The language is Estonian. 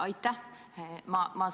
Aitäh!